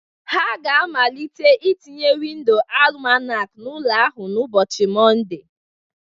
Ha ga-amalite ị tinye windoo Alụmakoo n'ụlọ ahụ n'ụbọchị Mọnde